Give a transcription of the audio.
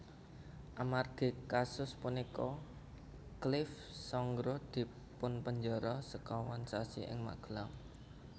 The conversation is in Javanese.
Amargi kasus punika Clift Sangra dipunpenjara sekawan sasi ing Magelang